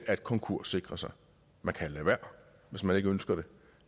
at konkurssikre sig man kan lade være hvis man ikke ønsker det